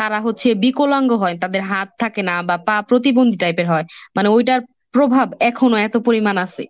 তারা হচ্ছে বিকলাঙ্গ হয় তাদের হাত থাকে না বা পা প্রতিবন্ধী টাইপের হয়, মানে ওইটার প্রভাব এখনো এত পরিমাণ আছে।